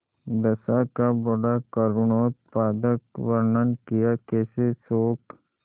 दशा का बड़ा करूणोत्पादक वर्णन कियाकैसे शोक